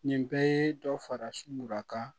Nin bɛɛ ye dɔ fara sunurakan